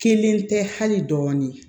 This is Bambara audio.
Kelen tɛ hali dɔɔnin